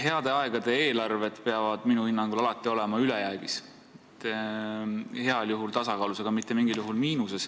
Heade aegade eelarved peavad minu hinnangul alati olema ülejäägis, heal juhul tasakaalus, aga mitte mingil juhul miinuses.